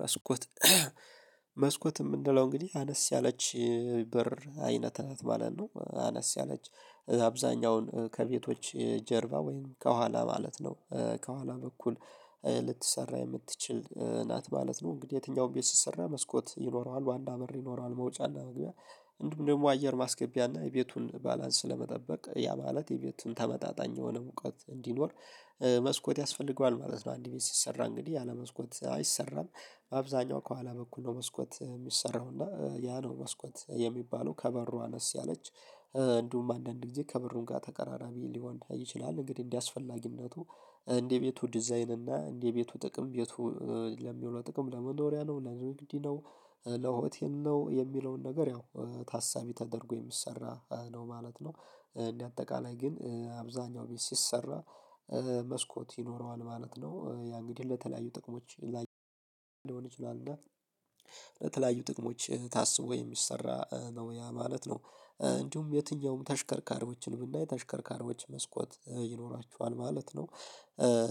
መስኮት መስኮት ምንለው እንግዲህ አነስ ያለች በር አይነት ናት ማለት ነው። አነስ ያለች አብዛኛውን ከቤቶች ጀርባ ወይም ከኋላ ማለት ነው ከኋላ በኩል ልትሰራ የምትችል ናት ማለት ነው። እንግዲህ የትኛውም ቤት ሲሰራ መስኮት ይኖረዋል ዋና በር ይኖረዋል መውጫና መግቢያ እንዲሁም ደግሞ አየር ማስገቢያና የቤቱን ባላንስ ለመጠበቅ ያ ማለት የቤቱን ተመጣጣኝ የሆነ ሙቀት እንዲኖር መስኮት ያስፈልገዋል ማለት ነው። አንድ ቤት ሲሰራ እንግዲህ ያለመስኮት አይሰራም አብዛኛው ከኋላ በኩል ነው መስኮት የሚሰራው። እና ያ ነው መስኮት ሚባለው ከበሩ አነስ ያለች እንዲሁም አንዳንድ ጊዜ ከብሩን ጋር ተቀራራቢ ሊወንዳ ይችላል። እንግዲህ እንደዚህ አስፈላጊነቱ እንደቤቱ ዲዛይን እና እንደ ቤቱ ጥቅም ቤቱ ለሚውለው ጥቅም ለመኖሪያ ነው ለግንድ ነው ለሆቴል ነው የሚለውን ነገር ያው ታሳቢ ተደርጎ የሚሰራ ነው ማለት ነው። እንደ አጠቃላይ ግን አብዛኛው ቤት ሲሰራ መስኮት ይኖረዋል ማለት ነው። ያ እንግዲህ ለተለያዩ ጥቅሞች ላይ ለተለያዩ ጥቅሞች ታስቦ የሚሰራ ነው ያ ማለት ነው። እንዲሁም የትኛውም ተሽከርካሪዎችን ብናይ የተሽከርካሪዎች መስኮት ይኖራቸዋል ማለት ነው።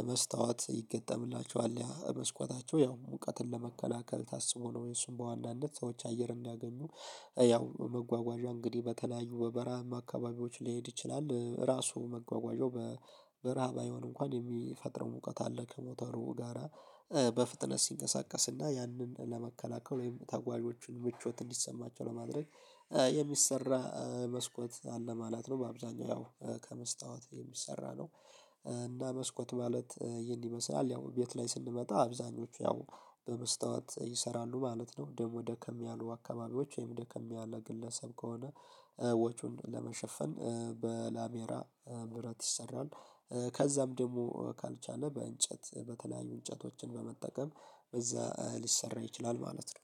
መስታወት ይገጠምላቸዋል ያ መስኮታቸው ያው ሙቀትን ለመከላከል ታስቦ ነው የሱም በዋናነት ሰዎች አየር እንዲያገኙ ያው መጓጓዣ እንግዲህ በተለያዩ በበራሃማ አካባቢዎች ሊሄድ ይችላል ራሱ መጓጓዣው በረሃ ባይሆንም እንኳን የሚፈጥረው ሙቀት አለ ከሞተሩ ጋራ በፍጥነት ሲንቀሳቀስና ያንን ለመከላከል ወይም ተጓዦችን ምቾት እንዲሰማቸው ለማድረግ የሚሰራ መስኮት አለ ማለት ነው። በአብዛኛው ያው ከመስታወት የሚሰራ ነው። እና መስኮት ማለት ይሄን ይመስላል ያው ቤት ላይ ስንመጣ አብዛኞቹ ያው በመስታወት ይሰራሉ ማለት ነው። ደግሞ ደከም ያሉ አካባቢዎች ወይም ደከም ያለ ግለሰብ ከሆነ ወጩን ለመሸፈን በላሜራ ብረት ይሰራል። ከዛም ደግሞ ካልቻለ በእንጨት በተለያዩ እንጨቶችን በመጠቀም በዛ ሊሰራ ይችላል ማለት ነው።